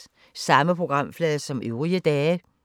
Samme programflade som øvrige dage